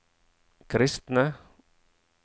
kristne